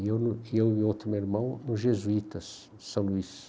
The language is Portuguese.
E eu e o outro meu irmão, os jesuítas de São Luís.